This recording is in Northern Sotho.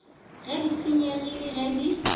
ge di senyegile ge di